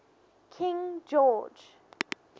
king george